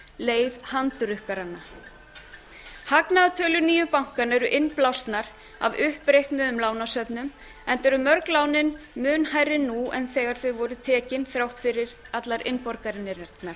leið handrukkaranna hagnaðartölur nýju bankanna eru innblásnar af uppreiknuðum lánasöfnum enda eru mörg lánin mun hærri nú en þegar þau voru tekin þrátt fyrir allar